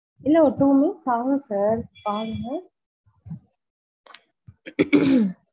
இல்ல ஒரு two minutes பாருங்க sir பாருங்க.